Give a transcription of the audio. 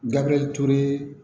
Gabirituru